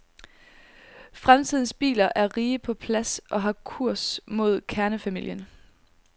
Fremtidens biler er rige på plads og har kurs mod kernefamilien.